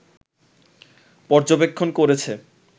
পর্যবেক্ষণ করেছে